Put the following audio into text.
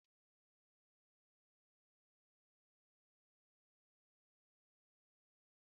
Ụdị of ose dị n'ime obodo gụnyere azụ, anụ ewu na isi ewu.